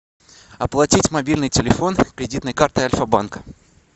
оплатить мобильный телефон кредитной картой альфа банка